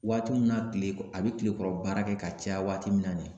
Waati min na tile a bɛ tile kɔrɔ baara kɛ ka caya waati min na nin ye